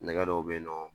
Nɛgɛ dɔ bɛ yen nɔ